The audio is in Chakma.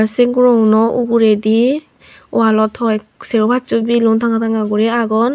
sei guroguno uguredi wallot hoiek serbo passo belun tanga tanga guri agon.